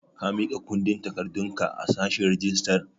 Ka miƙa kundin takardun ka a sashen rijistar?